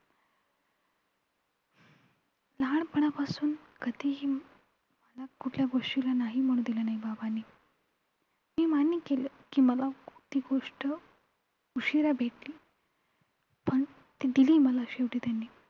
लहानपणापासून कधीही मला कुठल्याही गोष्टीला नाही म्हणू दिलं नाही बाबांनी मी मान्य केलं की मला कुठली गोष्ट उशिरा भेटली. पण ती दिली मला शेवटी त्यांनी.